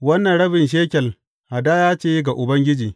Wannan rabin shekel hadaya ce ga Ubangiji.